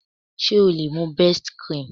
Ṣé o lè mú best cream?